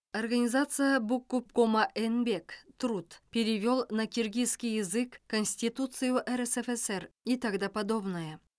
организация букгубкома энбек труд перевел на киргизский язык конституцию рсфср и тогда подобная